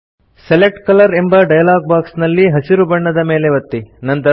select colour ಎಂಬ dialog box ನಲ್ಲಿ ಹಸಿರು ಬಣ್ಣದ ಮೇಲೆ ಒತ್ತಿ